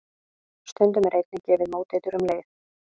Stundum er einnig gefið móteitur um leið.